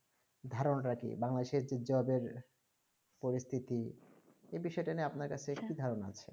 ধারণাটা কি ভাঙল দেশের পরিস্তিতি এবিষয়ে নিয়ে আপনার কি ধারণা আছে